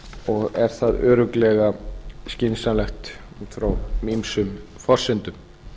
og er það örugglega skynsamlegt út frá ýmsum forsendum